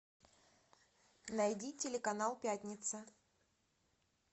найди телеканал пятница